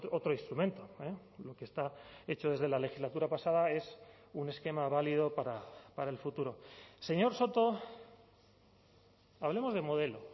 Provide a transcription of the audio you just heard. otro instrumento lo que está hecho desde la legislatura pasada es un esquema válido para el futuro señor soto hablemos de modelo